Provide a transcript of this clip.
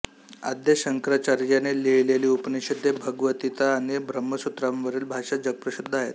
आद्य शंकराचार्यांनी लिहिलेली उपनिषदे भगवद्गीता आणि ब्रह्मसूत्रांवरील भाष्ये जगप्रसिद्ध आहेत